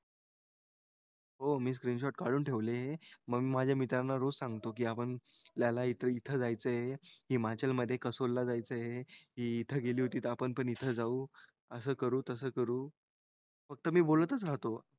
हो मी काडून ठेवलेले हे मग माझया मित्रांना रोज सांगतो कि आपल्याला इथं इथं जायचं आहे हिमाचलमध्ये कसूलला जायचंय हे हि इथं गेली होती त आपण पण इथं जाऊ अस करू तस करू फक्त मी बोलतच राहतो.